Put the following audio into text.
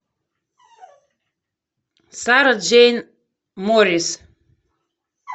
сара джейн морис